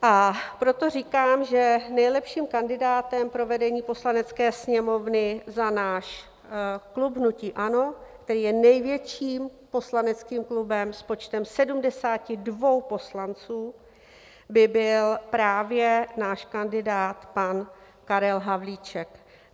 A proto říkám, že nejlepším kandidátem pro vedení Poslanecké sněmovny za náš klub hnutí ANO, který je největším poslaneckým klubem s počtem 72 poslanců, by byl právě náš kandidát pan Karel Havlíček.